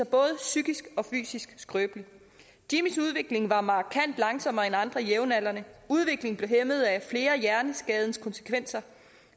både psykisk og fysisk skrøbelig jimmys udvikling var markant langsommere end andre jævnaldrendes udviklingen blev hæmmet af flere af hjerneskadens konsekvenser